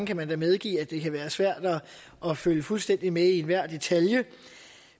kan da medgive at det kan være svært at følge fuldstændig med i enhver detalje